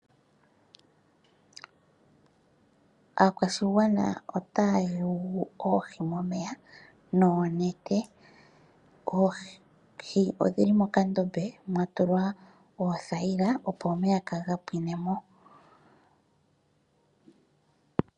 Aakwashigwana otaya yulu oohi momeya noonete. Oohi odhi li mokandombe mwa tulwa oothayila, opo omeya kaaga pwine mo.